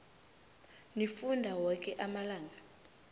nifunda woke amalanga